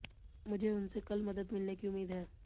मुझे उनसे कल मदद मिलने की उम्मीद है